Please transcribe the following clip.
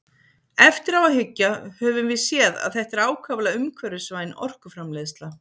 Eftir á að hyggja höfum við séð að þetta er ákaflega umhverfisvæn orkuframleiðsla.